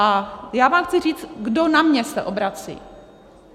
A já vám chci říct, kdo na mě se obrací.